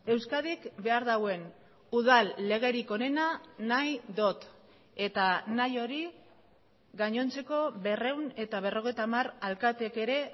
euskadik behar duen udal legerik onena nahi dut eta nahi hori gainontzeko berrehun eta berrogeita hamar alkateek ere